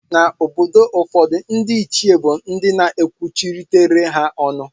Na obodo ụfọdu ndi echi bu ndi na ekwuchitere ha ọnụ ha.